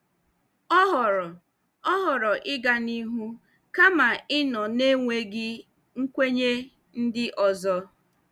O họọrọ O họọrọ ịga n'ihu kama ịnọ na enweghị nkwenye ndị ọzọ.